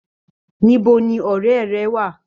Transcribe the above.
Níbo ní ọrẹ rẹ wà?